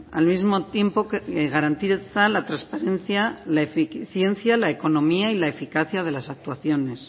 al mismo tiempo que garantiza la transparencia la eficiencia la economía y la eficacia de las actuaciones